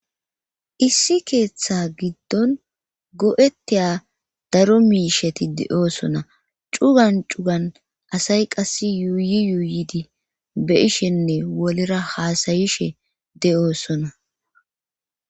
Issi keeththa giddon go7ettiya daro miisheti de7oosona cugan cugan asay qass yuuyi yuuyidi be ishenne wolera haasayishe de7oosona